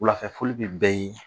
Wulafɛfoli bɛ bɛɛ ye